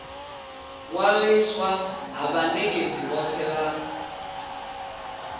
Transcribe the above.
ṅwaliswa ha vhanekedzi vhothe vha